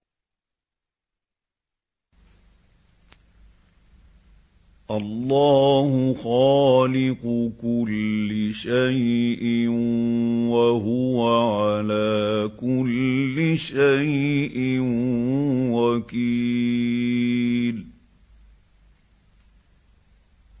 اللَّهُ خَالِقُ كُلِّ شَيْءٍ ۖ وَهُوَ عَلَىٰ كُلِّ شَيْءٍ وَكِيلٌ